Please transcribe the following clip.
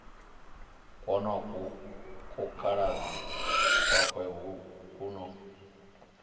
kwonoku kukaladzi kwawe ku no